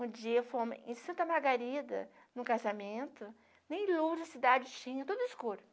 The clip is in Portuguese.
Um dia fomo em Santa Margarida em um casamento, nem luz, a cidade tinha, tudo escuro.